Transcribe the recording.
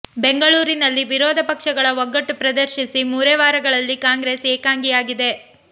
ಬೆಂಗಳೂರಿನಲ್ಲಿ ವಿರೋಧ ಪಕ್ಷಗಳ ಒಗ್ಗಟ್ಟು ಪ್ರದರ್ಶಿಸಿ ಮೂರೇ ವಾರಗಳಲ್ಲಿ ಕಾಂಗ್ರೆಸ್ ಏಕಾಂಗಿಯಾಗಿದೆ